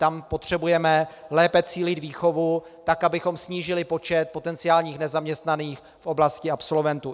Tam potřebujeme lépe cílit výchovu, tak abychom snížili počet potenciálních nezaměstnaných v oblasti absolventů.